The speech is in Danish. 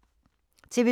TV 2